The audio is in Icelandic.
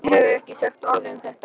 Hann hefur ekki sagt orð um þetta.